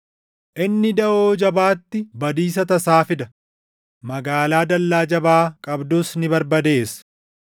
Inni daʼoo jabaatti badiisa tasaa fida; magaalaa dallaa jabaa qabdus ni barbadeessa.